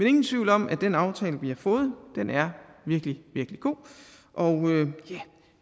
ingen tvivl om at den aftale vi har fået er virkelig virkelig god og